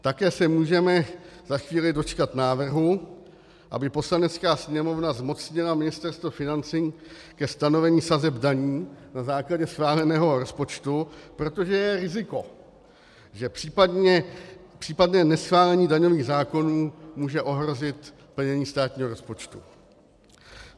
Také se můžeme za chvíli dočkat návrhu, aby Poslanecká sněmovna zmocnila Ministerstvo financí ke stanovení sazeb daní na základě schváleného rozpočtu, protože je riziko, že případné neschválení daňových zákonů může ohrozit plnění státního rozpočtu.